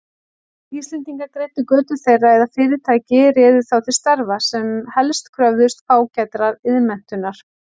Íslendingar greiddu götu þeirra eða fyrirtæki réðu þá til starfa, sem helst kröfðust fágætrar iðnmenntunar.